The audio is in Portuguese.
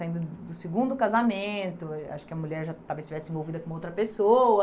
Saindo do segundo casamento, ah acho que a mulher já talvez estivesse envolvida com outra pessoa,